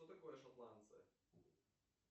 что такое шотландцы